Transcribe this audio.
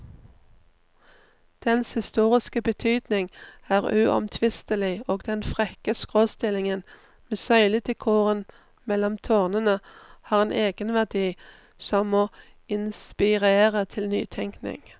Dens historiske betydning er uomtvistelig, og den frekke skråstillingen med søyledekoren mellom tårnene har en egenverdi som må inspirere til nytenkning.